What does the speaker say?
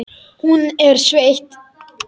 Hún er sveitt.